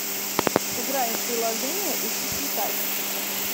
сыграем в приложение учись летать